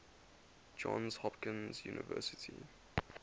johns hopkins university